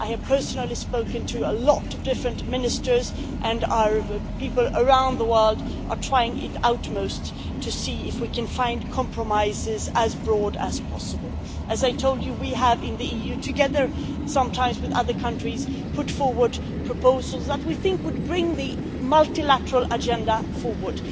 I have personally spoken to a lot of different ministers, and our people around the world are trying their utmost to see if we can find compromises that are as broad as possible. As I told you, we have in the EU, sometimes together with other countries, put forward proposals that we think would bring the multilateral agenda forward.